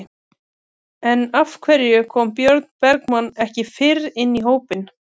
En af hverju kom Björn Bergmann ekki fyrr inn í hópinn?